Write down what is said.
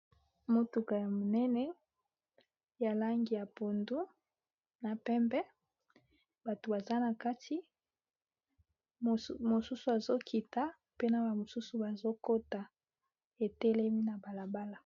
Motuka ya monene ya langi ya pondu na pembe bato baza na kati mosusu azo kita pe na ba mosusu bazokota etelemi na balabala.